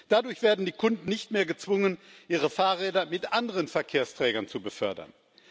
Dadurch werden die Kunden nicht mehr gezwungen, ihre Fahrräder mit anderen Verkehrsträgern zu befördern.